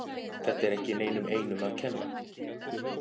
Þetta er ekki neinum einum að kenna.